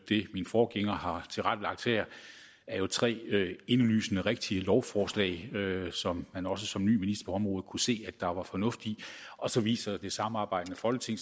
min forgænger har tilrettelagt her er jo tre indlysende rigtige lovforslag som man også som ny minister på området kunne se at der var fornuft i og så viser det samarbejdende folketing